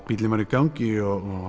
bíllinn var í gangi og